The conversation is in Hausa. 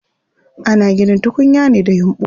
Ana ginin tukunya ne da yumɓu.